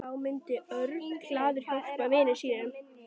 Þá myndi Örn glaður hjálpa vini sínum.